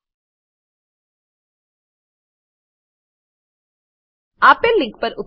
આપેલ લીંક પર ઉપલબ્ધ વિડીયો નિહાળો